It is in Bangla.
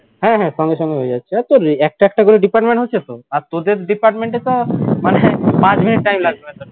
হ্যাঁ হ্যাঁ সঙ্গে সঙ্গেই হয়ে যাচ্ছে আর তোর একটা একটা করে department হচ্ছে তো আর তোদের department এ তো মানে পাঁচ মিনিট time লাগবে না